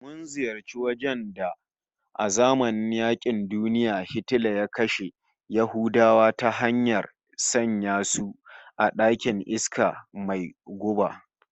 Mun ziyarci wajen da a zamanin yaƙin duniya Hitler ya kashe Yahudawa ta hanyar sanya su a ɗakin iska mai guba